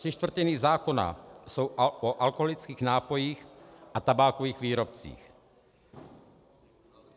Tři čtvrtiny zákona jsou o alkoholických nápojích a tabákových výrobcích.